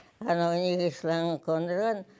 анау неге шлангы қондырған